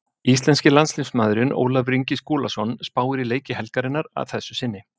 Íslenski landsliðsmaðurinn Ólafur Ingi Skúlason spáir í leiki helgarinnar að þessu sinni.